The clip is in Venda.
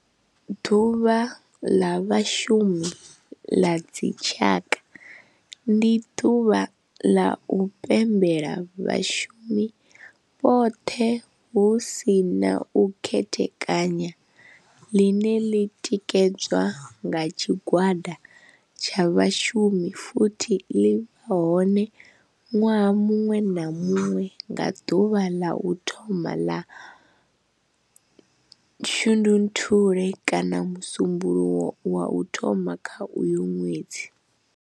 Ḓuvha ḽa Vhashumi ḽa dzi tshaka, ndi ḓuvha ḽa u pembela vhashumi vhothe hu si na u khethekanya ḽine ḽi tikedzwa nga tshigwada tsha vhashumi futhi ḽi vha hone nwaha muṅwe na muṅwe nga ḓuvha la u thoma 1 ḽa Shundunthule kana musumbulowo wa u thoma kha uyo ṅwedzi.